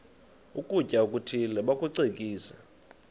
ukutya okuthile bakucekise